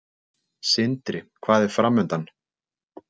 Sindri: Hvað er framundan?